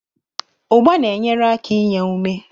Ugba na-enyere aka inye ume.